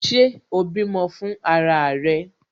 Ṣé o bímọ fún ara rẹ?